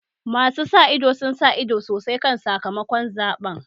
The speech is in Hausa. Masu sa ido sun sa ido sosai kan sakamakon zaɓen